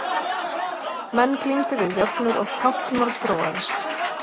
Menn glímdu við jöfnur og táknmál þróaðist.